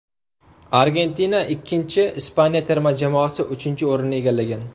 Argentina ikkinchi, Ispaniya terma jamoasi uchinchi o‘rinni egallagan.